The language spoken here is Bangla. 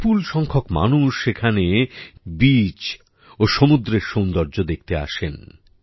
বিপুল সংখ্যক মানুষ সেখানে বিচ ও সমুদ্রের সৌন্দর্য দেখতে আসেন